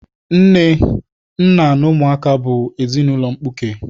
Nne, nna na ụmụaka bụ ezinaụlọ mkpuke